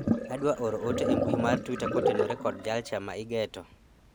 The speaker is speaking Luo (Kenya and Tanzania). adwaro oro ote e mbui mar twita kotenore kod jalcha ma igeto